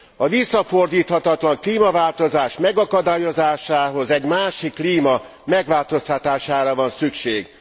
A visszafordíthatatlan klímaváltozás megakadályozásához egy másik klíma megváltoztatására van szükség.